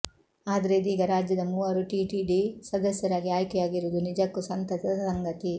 ಆದ್ರೆ ಇದೀಗ ರಾಜ್ಯದ ಮೂವರು ಟಿಟಿಡಿ ಸದಸ್ಯರಾಗಿ ಆಯ್ಕೆಯಾಗಿರುವುದು ನಿಜಕ್ಕೂ ಸಂತಸದ ಸಂಗತಿ